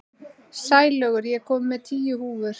Sælaugur, ég kom með tíu húfur!